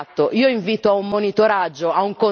Questa è la realtà e bisogna prenderne atto.